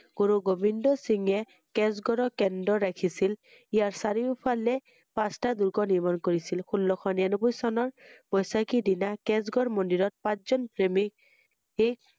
গুৰু গোবিন্দ সিঁং কেচ গড়ৰৰ কেন্দ্ৰ ৰাখিছিল ইয়াৰ চাৰিওঁফালে পাচটাঁ দূৰ্গ নিৰ্মাণ কৰিছিল ৷ষোল্লশ নিৰানব্বৈ চনৰ বৰ্ষাকিৰ দিনা কেচ গড় মন্দিৰত পাচঁজন পন্দিত